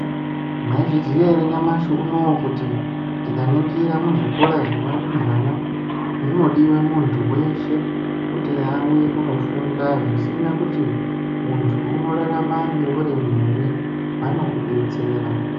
Mwaizviziya ere nyamashi unowu kuti tikaningira muzvikora zvevarumbwana munodiwa muntu weshe kuti auye kunofunda zvisina kuti muntu unorarama neurema ere vanokudetsera.